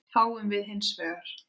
fáum við hins vegar